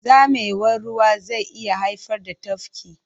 Zamewar ruwa zai iya haifar da tafki.